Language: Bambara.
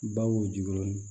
Baw jigi